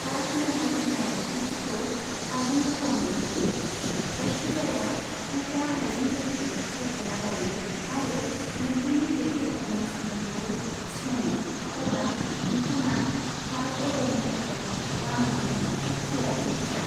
Card महर होनाय बिखान्थिखौ आबुं खालामनो हायो, जायखि जाया उफ्रा आइजेंफोरखौ सायख'ना लायो आरो नोंथांनि दैथाइहरनाय सुलुंखौ थिस'नो, अब्ला नोंथाङा कार्ड अर्डारनि थाखाय रां होनो थाग थियारि जा।